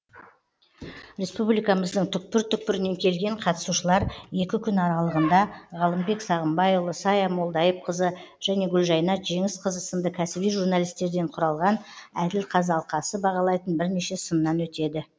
республикамыздың түкпір түкпірінен келген қатысушылар екі күн аралығында ғалымбек сағымбайұлы сая молдайыпқызы және гүлжайнат жеңісқызы сынды кәсіби журналистерден құралған әділ қазы алқасы бағалайтын бірнеше сыннан өтеді